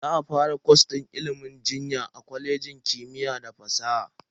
Za a fara kwas din ilimin jinya a kwalejin kimiyya da fasaha.